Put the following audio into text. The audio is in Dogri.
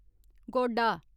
गोडा